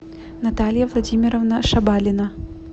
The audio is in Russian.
наталья владимировна шабалина